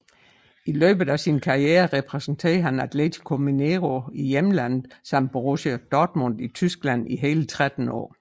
I løbet af sin karriere repræsenterede han Atlético Mineiro i hjemlandet samt Borussia Dortmund i Tyskland i hele 13 år